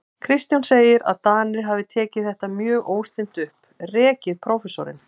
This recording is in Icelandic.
Kristján segir, að Danir hafi tekið þetta mjög óstinnt upp, rekið prófessorinn